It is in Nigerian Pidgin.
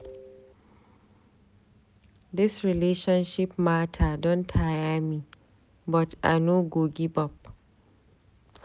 Dis relationship mata don tire me but I no go give up.